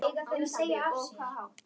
Látið sjóða í pottinum á milli.